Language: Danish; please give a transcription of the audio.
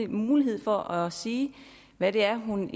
mulighed for at sige hvad det er hun